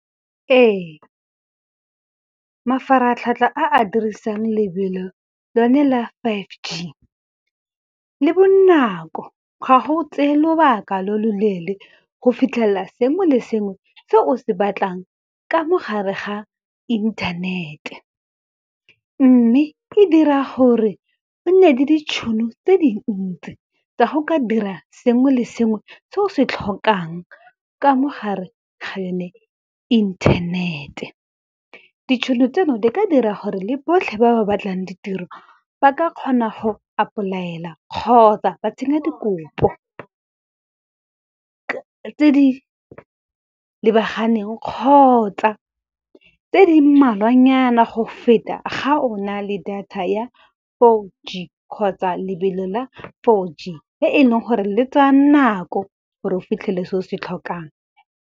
Ee, mafaratlhatlha a a dirisang lebelo lone la five G, le bonako ga go tseye lobaka lo lo leele go fitlhelela sengwe le sengwe se o se batlang ka mo gare ga inthanete. Mme e dira gore go nne le ditšhono tse dintsi, tsa go ka dira sengwe le sengwe se o se tlhokang ka mo gare ga yone inthanete. Ditšhono tseno di ka dira gore le botlhe ba ba batlang ditiro, ba ka kgona go apply-ela kgotsa ba tsenya dikopo, tse di lebaganeng kgotsa tse di mmalwanyana go feta ga o na le data ya four G kgotsa lebelo la four G, e leng gore le tsaya nako gore o fitlhele se o se tlhokang.